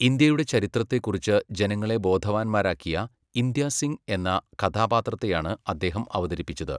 ഇന്ത്യയുടെ ചരിത്രത്തെക്കുറിച്ച് ജനങ്ങളെ ബോധവാന്മാരാക്കിയ, ഇന്ദ്യ സിംഗ് എന്ന കഥാപാത്രത്തെയാണ് അദ്ദേഹം അവതരിപ്പിച്ചത്.